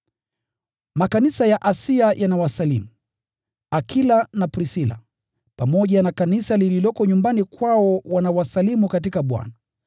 Makanisa ya Asia yanawasalimu. Akila na Prisila, pamoja na kanisa lililoko nyumbani kwao wanawasalimu sana katika Bwana.